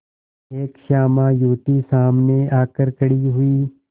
एक श्यामा युवती सामने आकर खड़ी हुई